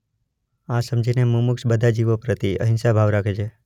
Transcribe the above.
આ સમજી ને મુમુક્ષ બધા જીવો પ્રતિ અહિંસા ભાવ રાખે છે.